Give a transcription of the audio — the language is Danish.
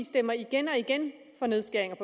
stemmer igen og igen for nedskæringer i